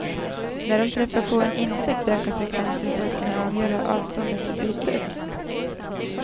När de träffar på en insekt ökar frekvensen för att kunna avgöra avståndet till bytet.